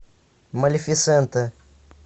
малефисента